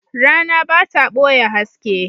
Rana ba ta ɓoye haske.